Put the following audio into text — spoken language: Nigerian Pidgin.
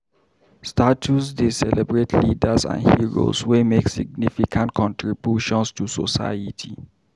Statues dey celebrate leaders and heroes wey make significant contributions to society.